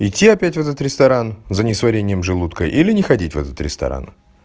идти опять в этот ресторан за несварением желудка или не ходить в этот ресторан